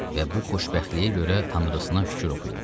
Və bu xoşbəxtliyə görə tanrısına şükür oxuyurdu.